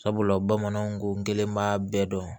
Sabula bamananw ko n gɛlɛn b'a bɛɛ dɔn